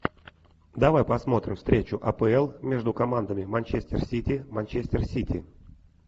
давай посмотрим встречу апл между командами манчестер сити манчестер сити